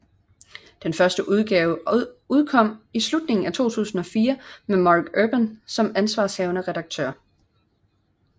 Den første udgave udkom i slutningen af 2004 med Marc Urban som ansvarshavende redaktør